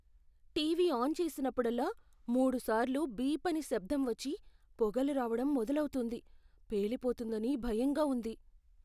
TV on చేసినప్పుడల్లా, మూడుసార్లు beep అని శబ్దం వచ్చి, పొగలు రావడం మొదలవుతుంది. పేలిపోతుందని భయంగా ఉంది.